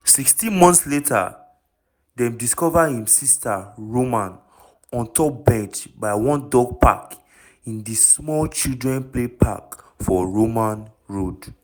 sixteen months later dem discover im sister roman ontop bench by one dog walker in di small children play park for roman road.